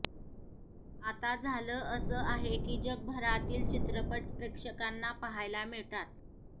आता झालं असं आहे की जगभरातील चित्रपट प्रेक्षकांना पाहायला मिळतात